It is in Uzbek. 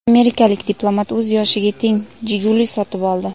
Amerikalik diplomat o‘z yoshiga teng "Jiguli" sotib oldi.